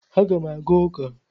Aga m aga ụka.